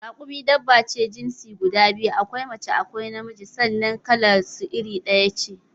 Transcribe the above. Rakumi dabba ce mai jinsi guda biyu: akwai mace akwai na miji sannan kalar su iri ɗaya ce